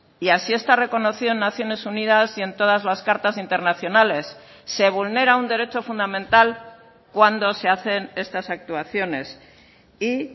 y así está reconocido en naciones unidas y en todas las cartas internacionales se vulnera un derecho fundamental cuando se hacen estas actuaciones y